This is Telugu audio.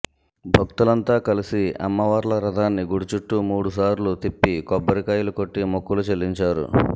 భక్తులంతా కలిసి అమ్మవార్ల రథాన్ని గుడి చుట్టూ మూడు సార్లు తిప్పి కొబ్బరికాయలు కొట్టి మొక్కులు చెల్లించారు